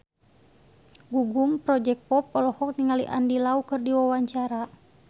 Gugum Project Pop olohok ningali Andy Lau keur diwawancara